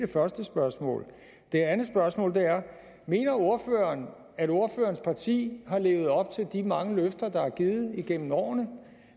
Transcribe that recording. første spørgsmål det andet spørgsmål er mener ordføreren at ordførerens parti har levet op til de mange løfter der er givet igennem årene